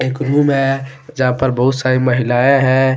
एक रूम है यहां पर बहुत सारी महिलाएं हैं।